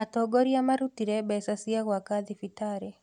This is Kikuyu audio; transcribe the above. Atongoria marutire mbeca cia gĩaka thibitarĩ